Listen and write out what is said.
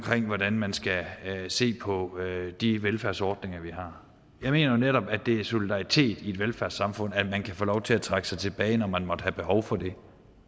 hvordan man skal se på de velfærdsordninger vi har jeg mener netop at det er solidaritet i et velfærdssamfund at man kan få lov til at trække sig tilbage når man måtte have behov for det